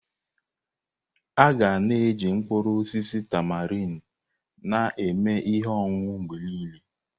Aga na-eji mkpụrụ osisi tamarind na-eme ihe ọṅụṅụ mgbe niile.